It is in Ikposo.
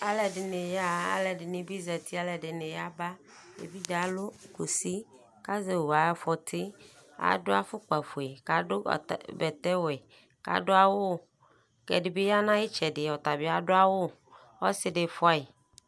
Alʋɛdɩnɩ yaɣa, alʋɛdɩnɩ bɩ zati, alʋɛdɩnɩ yaba Ɛdɩ alʋ kusi k'azɛ owu ay'afɔtɩ Adʋ afʋkpafue k'adʋ bata bɛtɛwɛ , k'adʋ awʋ ; ɛdɩbɩ ya n'ayɩtsɛdɩ ɔtabɩ adʋ awʋ , ɔsɩdɩ fʋayɩ